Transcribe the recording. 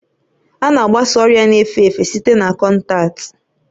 A na-agbasa ọrịa na-efe efe site na kọntaktị